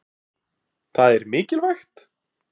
Breki: Það er mikilvægt?